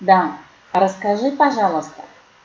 да расскажи пожалуйста